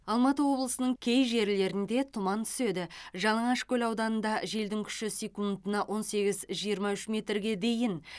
алматы облысының кей жерлерінде тұман түседі жалаңашкөл ауданында желдің күші секундына он сегіз жиырма үш метрге дейін